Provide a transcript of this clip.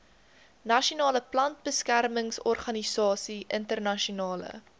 nasionale plantbeskermingsorganisasie internasionale